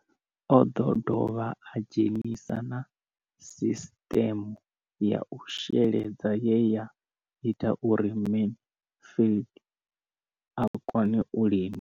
O ḓo dovha a dzhenisa na sisiṱeme ya u sheledza ye ya ita uri Mansfied a kone u lima.